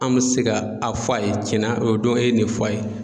An me se ka a fɔ a ye cɛna o don e ye nin fɔ a ye